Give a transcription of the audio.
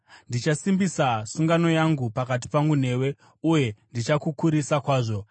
Ndichasimbisa sungano yangu pakati pangu newe uye ndichakukurisa kwazvo.”